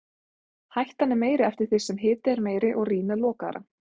Hættan er meiri eftir því sem hiti er meiri og rýmið lokaðra.